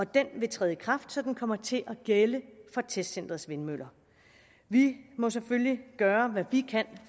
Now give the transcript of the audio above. den vil træde i kraft så den kommer til at gælde for testcenterets vindmøller vi må selvfølgelig gøre hvad vi kan